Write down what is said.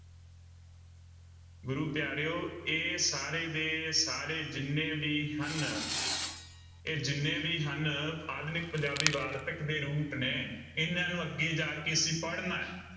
ਗੁਰੂ ਪਿਆਰਿਓ ਇਹ ਸਾਰੇ ਦੇ ਸਾਰੇ ਜਿੰਨੇ ਵੀ ਹਨ ਇਹ ਜਿੰਨੇ ਵੀ ਹਨ ਆਧੁਨਿਕ ਪੰਜਾਬੀ ਵਾਰਤਕ ਦੇ ਰੂਪ ਨੇ ਇਹਨਾਂ ਨੂੰ ਅੱਗੇ ਜਾ ਕੇ ਅਸੀਂ ਪੜ੍ਹਨਾ ਹੈ।